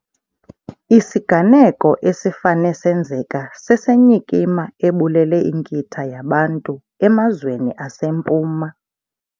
Isiganeko esifane senzeka sesenyikima ebulele inkitha yabantu emazweni aseMpuma.